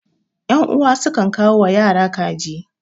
yan'uwa sukan kawo ya yara kaji